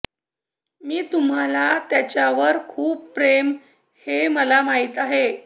मी तुम्हाला त्याच्यावर खूप प्रेम हे मला माहीत आहे